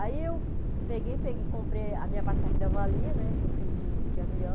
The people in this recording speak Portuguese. Aí eu peguei, pe comprei a minha passagem ainda valia, né, que eu fui de avião.